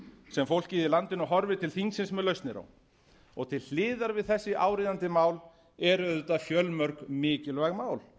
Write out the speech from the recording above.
sem fólkið í landinu horfir til þingsins með lausnir á til hliðar við þessi áríðandi mál eru auðvitað fjölmörg mikilvæg mál